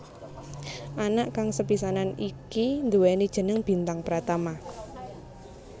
Anak kang sepisanan iki nduwéni jeneng Bintang Pratama